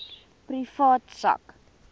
privaat sak